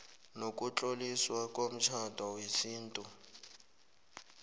nokutloliswa komtjhado wesintu